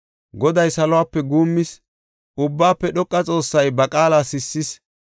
Goday salope guummis; Ubbaafe dhoqa Xoossay ba qaala sissis.